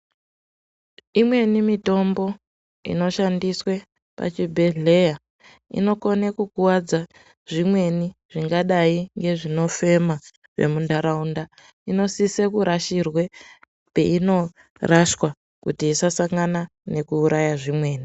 Imweni mitombo inoshandiswe pachibhedhlera inokone kukwadza zvimweni zvingadai ngezvino fema mundaraunda inosise kurashirwe peino rashwa kuti isasangana nekuuraye zvimweni.